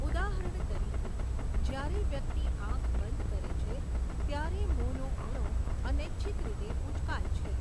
ઉદાહરણ તરીકે, જ્યારે વ્યક્તિ આંખ બંધ કરે છે, ત્યારે મોંનો ખૂણો અનૈચ્છિક રીતે ઉંચકાય છે.